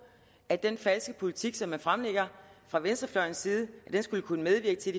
at den falske politik som man fremlægger fra venstrefløjens side skulle kunne medvirke til